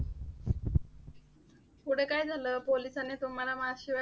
पुढे काय झालं? पोलिसांनी तुम्हाला mask शिवाय